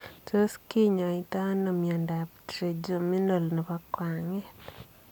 Tos kinyoitoo anoo miondoop trigeminal nepo kwangeet?